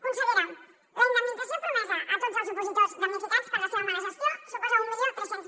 consellera la indemnització promesa a tots els opositors damnificats per la seva mala gestió suposa mil tres cents